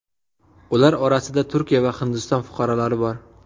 Ular orasida Turkiya va Hindiston fuqarolari bor.